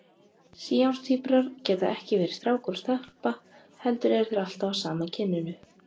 Síamstvíburar geta ekki verið strákur og stelpa heldur eru þeir alltaf af sama kyninu.